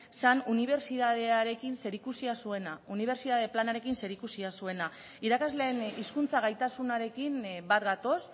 zen unibertsitatearekin zerikusia zuena unibertsitate planarekin zerikusia zuena irakasleen hizkuntza gaitasunarekin bat gatoz